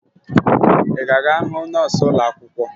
Ị ga-aga hụ nọọsụ ụlọakwụkwọ?